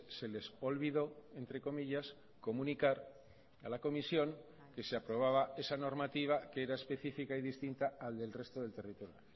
se les olvidó entre comillas comunicar a la comisión que se aprobaba esa normativa que era específica y distinta al del resto del territorio